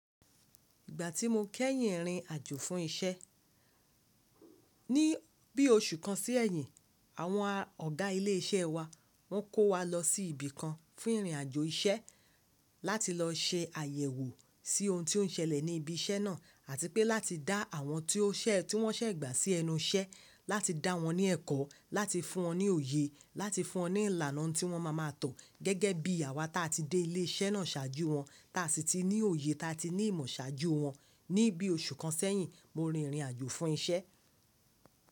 Ìgbà tí mo kẹ́yìn rìnrìn àjò fún isẹ́, ní bí oṣù kan sí ẹ̀yìn, àwọn ọ̀gá ilé iṣẹ́ wa wọ́n kó wa lọ sí ibi kan fún ìrìn àjò iṣẹ́ láti lọ se àyẹ̀wò sí ohun tí ó ń ṣẹlẹ̀ ní ibi iṣẹ́ náà àti pé láti dá àwọn tí ó ṣẹ́ tí wọ́n ṣẹ̀gbà sí ẹnu iṣẹ́ láti dá wọn ní ẹ̀kọ́, láti fún wọn ní òye, láti fún wọn ní ìlànà tí wọ́n ma ma tọ gẹ́gẹ́ bí àwa tí a ti dé ilé iṣẹ́ náà ṣáájú wọn, tí a sì ti ní òye, tí a ti ní ìmọ̀ ṣáájú wọn. Ní bí oṣù kan sẹ́yìn mo rin ìrìn àjò fún iṣẹ́